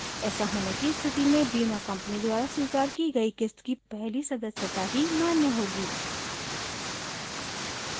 ऐसा होने की स्थिति में बीमा कंपनी द्वारा स्वीकार की गयी क़िस्त की पहली सदस्यता ही मान्य होगी